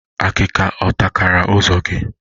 Akika ọ takara ụzọ gị?